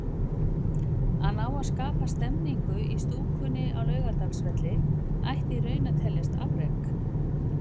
Að ná að skapa stemningu í stúkunni á Laugardalsvelli ætti í raun að teljast afrek.